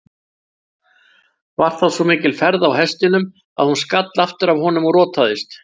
Var þá svo mikil ferð á hestinum að hún skall aftur af honum og rotaðist.